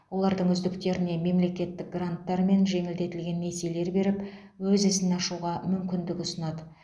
олардың үздіктеріне мемлекеттік гранттар мен жеңілдетілген несиелер беріп өз ісін ашуға мүмкіндік ұсынады